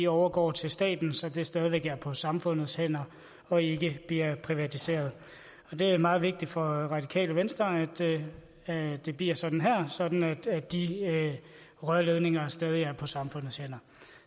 overgår til staten så det stadig væk er på samfundets hænder og ikke bliver privatiseret det er meget vigtigt for radikale venstre at det bliver sådan her sådan at de rørledninger stadig er på samfundets hænder